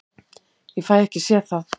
Ég fæ ekki séð það.